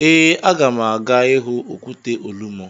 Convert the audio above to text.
Ee, aga m aga ịhụ okwute Olumo.